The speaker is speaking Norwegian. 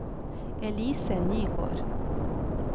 Elise Nygård